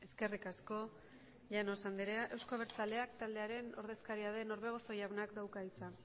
eskerrik asko llanos andrea euzko abertzaleak taldearen ordezkaria den orbegozo jaunak dauka hitza